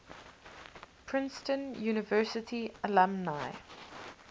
princeton university alumni